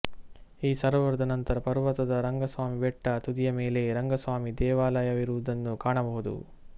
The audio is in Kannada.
ಈ ಸರೋವರದ ನಂತರ ಪರ್ವತದ ರಂಗಸ್ವಾಮಿ ಬೆಟ್ಟ ತುದಿಯ ಮೇಲೆ ರಂಗಸ್ವಾಮಿ ದೇವಾಲಯವಿರುವುದನ್ನು ಕಾಣಬಹುದು